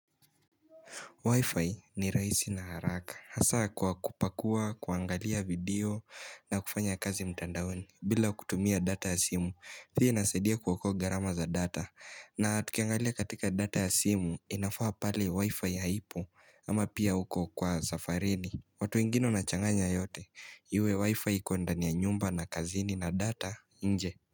Wi-Fi ni rahisi na haraka. Hasa kwa kupakua, kuangalia video na kufanya kazi mtandaoni. Bila kutumia data ya simu, pia inasaidia kuokoa gharama za data. Na tukiangalia katika data ya simu, inafaa pale Wi-Fi haipo ama pia uko safarini. Watu wengine wanachanganya yote, iwe Wi-Fi iko ndani ya nyumba na kazini na data, nje.